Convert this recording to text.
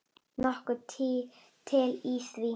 Nokkuð til í því.